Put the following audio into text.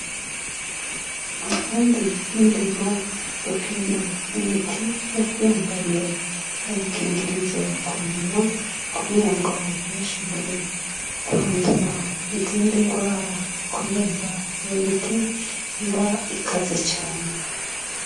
Abafundi b'indimo gupima imiti bambaye ubukingirizo ku minwa kugirango ntibashobore kwandura izindi ngwara kubera iyo miti iba ikaze cane.